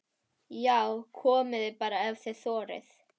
JÁ, KOMIÐI BARA EF ÞIÐ ÞORIÐ!